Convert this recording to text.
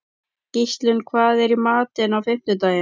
Gíslunn, hvað er í matinn á fimmtudaginn?